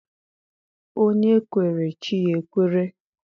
Onye kwere, chi ya ekwere.